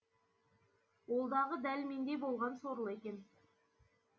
ол дағы дәл мендей болған сорлы екен